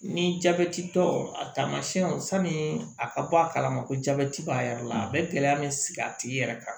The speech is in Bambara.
Ni jabɛti tɔ a taamasiyɛnw sani a ka bɔ a kalama ko jabɛti b'a yɛrɛ la a bɛ gɛlɛya bɛ sigi a tigi yɛrɛ kan